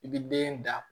I bi den da